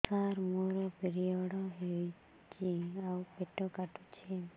ସାର ମୋର ପିରିଅଡ଼ ହେଇଚି ଆଉ ପେଟ କାଟୁଛି